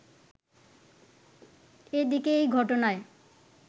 এদিকে এই ঘটনায়